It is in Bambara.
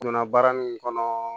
Donna baara min kɔnɔ